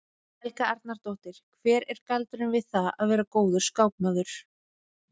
Helga Arnardóttir: Hver er galdurinn við það að vera góður skákmaður?